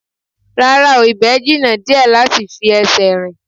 Rárá o, ibẹ̀ jìnnà díẹ̀ láti fi ẹsẹ̀ rìn